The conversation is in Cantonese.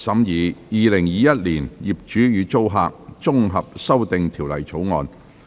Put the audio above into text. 《2021年業主與租客條例草案》。